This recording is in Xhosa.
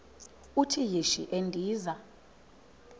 uthi yishi endiza